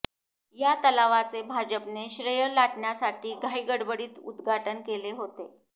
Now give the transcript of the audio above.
या तलावाचे भाजपने श्रेय लाटण्यासाठी घाई गडबडीत उद्घाटन केले होते